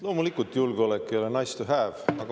Loomulikult, julgeolek ei ole nice to have.